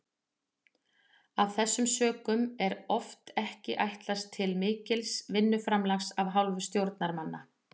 Af þessum sökum er oft ekki ætlast til mikils vinnuframlags af hálfu stjórnarmanna.